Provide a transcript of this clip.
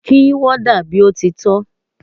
Kí warder bí ó ti tọ́!